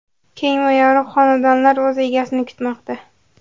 Keng va yorug‘ xonadonlar o‘z egasini kutmoqda.